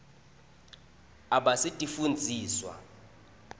abasitifundziswa